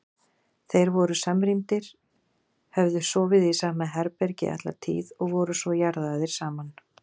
Þeir voru samrýndir, höfðu sofið í sama herbergi alla tíð og voru svo jarðaðir saman.